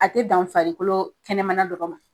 A te dan farikolo kɛnɛmana dɔrɔn ma